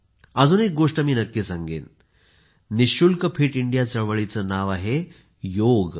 अजून एक गोष्ट मी नक्की सांगेन कोणतेही पैसे खर्च न करता फिट इंडिया चळवळीचे नाव आहे योग